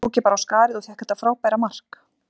Svo tók ég bara á skarið og fékk þetta frábæra mark.,